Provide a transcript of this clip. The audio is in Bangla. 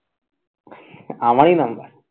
আমারই number